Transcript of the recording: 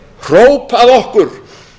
hróp að okkur